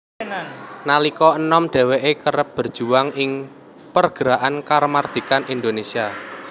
Nalika enom dheweke kerep berjuang ing pergerakan kamardikan Indonesia